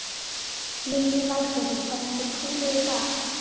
Lillý Valgerður: Þannig að þið púlið í dag?